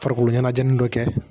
Farikolo ɲɛnajɛi dɔ kɛ